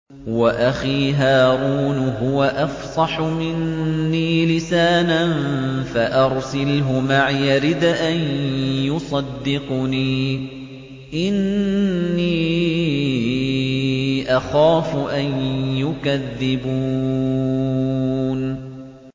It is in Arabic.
وَأَخِي هَارُونُ هُوَ أَفْصَحُ مِنِّي لِسَانًا فَأَرْسِلْهُ مَعِيَ رِدْءًا يُصَدِّقُنِي ۖ إِنِّي أَخَافُ أَن يُكَذِّبُونِ